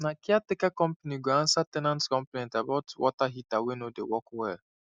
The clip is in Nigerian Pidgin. na caretaker company go answer ten ant complaint about water heater wey no dey work well